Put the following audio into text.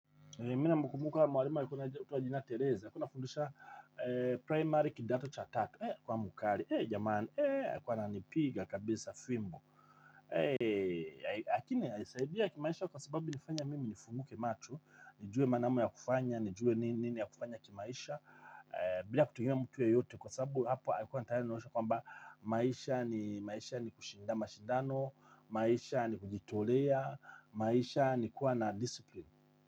Mimi namkumbuka mwalimu aalikua anitwa jina Teresa, alikua anfundsha primary kidato cha tatu, eh kwa mkali, eh jamani eh alikuwa ananipiga kabisa fimbo, eh lakini alinisaidia kimaisha kwa sababu ilinifanya mimi nifunguke macho, nijue maana ya kufanya, nijue nini ya kufanya kimaisha, bila kutegemea mtu yeyote kwa sababu hapa alikuwa anataka nionyeshe kwamba maisha ni maisha ni kushinda mashindano, maisha ni kujitolea, maisha ni kuwa na disipline.